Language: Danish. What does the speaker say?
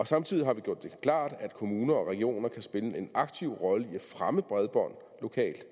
samtidig har vi gjort det klart at kommuner og regioner kan spille en aktiv rolle i at fremme bredbånd lokalt